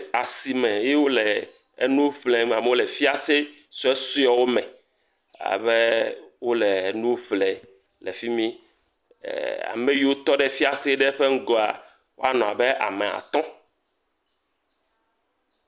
Asime ye wole nu ƒlem, amewo le fiase suesuewo me, abe wole nuƒle le fi mi ee.e.e..e.. ame yiwo tɔ ɖe fiase ŋgɔa woanɔ abe atɔ̃.